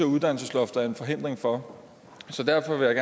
uddannelsesloftet er en forhindring for derfor vil jeg